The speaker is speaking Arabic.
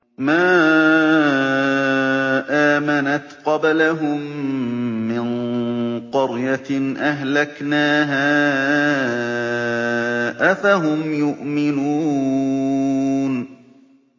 مَا آمَنَتْ قَبْلَهُم مِّن قَرْيَةٍ أَهْلَكْنَاهَا ۖ أَفَهُمْ يُؤْمِنُونَ